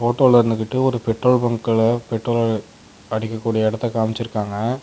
இருந்துகிட்டு ஒரு பெட்ரோல் பங்க்ல பெட்ரோல் அடிக்கக்கூடிய எடத்த காம்சிருக்காங்க.